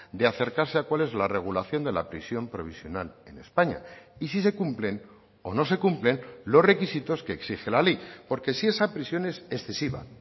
de acercarse a cuál es la regulación de la prisión provisional en españa y si se cumplen o no se cumplen los requisitos que exige la ley porque si esa prisión es excesiva